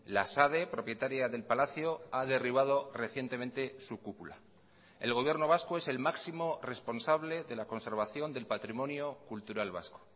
la sade propietaria del palacio ha derribado recientemente su cúpula el gobierno vasco es el máximo responsable de la conservación del patrimonio cultural vasco